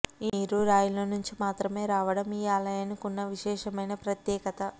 ఈ నీరు రాయిలోనుంచి మాత్రమే రావడం ఈ ఆలయానికున్న విశేషమైన ప్రత్యేకత